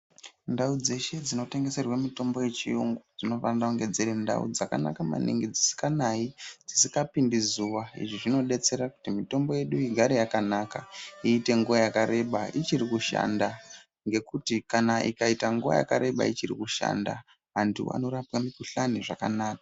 Ndau dzeshe dzinotengeserwe mitombo yechiyungu dzinofanire kunge dziri ndau dzakanaka maningi dzisnganai , dzisingapindi zuwa izvi zvinodetsera kuti mitombo yedu igare yakanaka iite nguwa yakareba ichiri kushanda ngekuti kana ukaite nguwa yakareba ichiri kushanda antu anoraowa mikhuhlani zvakanaka.